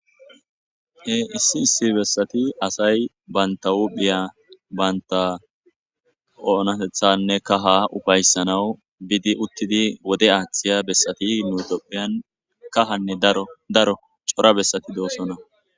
Esi Esi besati asati banta huphiyane Banta onatethane kaha ufaysanaw bidi utidi wode athiya besetii nu ethiopian kahane chora besati Dosona